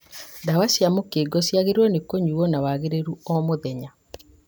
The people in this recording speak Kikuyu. Ndawa cia mũkingo ciagĩrĩirwo nĩ kũnyuo na wagĩrĩru o mũthenya